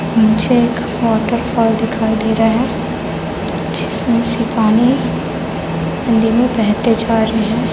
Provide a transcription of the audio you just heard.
मुझे एक waterfall दिखाई दे रहा है जिसमें से पानी नदी में बहते जा रहे हैं।